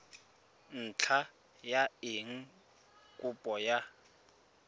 ntlha ya eng kopo ya